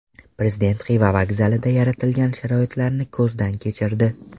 Prezident Xiva vokzalida yaratilgan sharoitlarni ko‘zdan kechirdi.